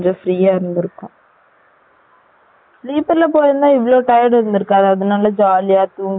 sleeper la போய் இருந்தா ப்ரசன இருந்திருகாது jolly யா தூங்கிட்டே போய் இருக்கலாம் இல்ல்யா